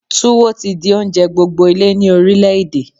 Túwó ti di oúnjẹ gbogbo ilé ni orílẹ̀ èdè.